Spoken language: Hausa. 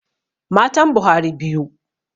Matan Buhari biyu.